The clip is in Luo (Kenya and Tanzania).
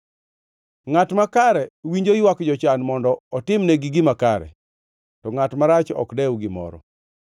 Ngʼat makare winjo ywak jochan mondo otimnegi gima kare, to ngʼat marach ok dew gimoro.